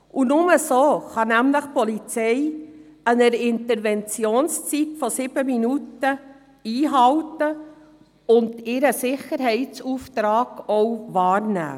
Nur so kann die Polizei ihre Interventionszeit von 7 Minuten einhalten und ihren Sicherheitsauftrag wahrnehmen.